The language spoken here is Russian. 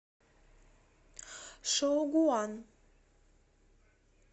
шоугуан